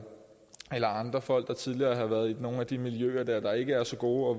andre folk der tidligere har været i nogle af de miljøer der ikke er så gode og